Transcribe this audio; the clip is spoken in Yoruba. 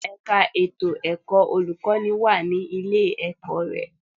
Ṣé ẹ̀ka ètò ẹ̀kọ́ olùkọ́ní wà ní ilé-ẹ̀kọ́ rẹ?